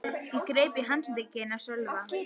Ég greip í handlegginn á Sölva.